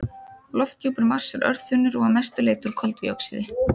Lofthjúpur Mars er örþunnur og að mestu leyti úr koldíoxíði.